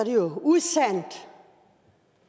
jo usandt